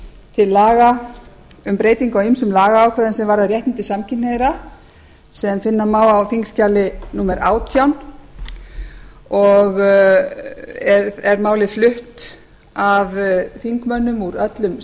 til laga um breyting á ýmsum lagaákvæðum sem varða réttindi samkynhneigðra sem finna má á þingskjali númer átján og er málið flutt af þingmönnum úr öllum